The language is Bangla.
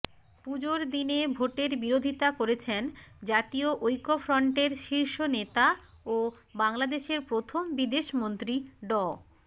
পুজোর দিনে ভোটের বিরোধিতা করেছেন জাতীয় ঐক্যফ্রন্টের শীর্ষ নেতা ও বাংলাদেশের প্রথম বিদেশমন্ত্রী ড